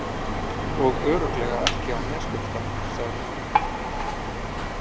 Og örugglega ekki á Neskaupstað, sagði hún.